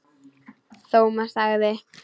Thomas þagði.